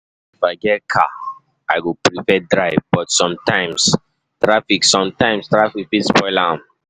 If I get car, I go prefer drive, but sometimes traffic sometimes traffic fit spoil am.